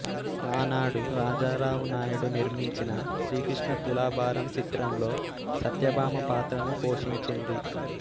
ఆనాడు రాజారావు నాయుడు నిర్మించిన శ్రీకృష్ణ తులాభారం చిత్రంలో సత్యభామ పాత్రను పోషించింది